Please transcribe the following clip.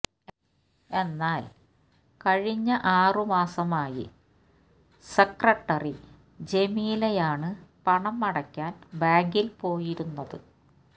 എന്നാല് കഴിഞ്ഞ ആറുമാസമായി സെക്രട്ടറി ജമീലയാണ് പണം അടയ്ക്കാന് ബാങ്കില് പോയിരുന്നത്